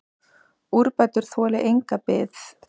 Úrbætur þoli enga bið.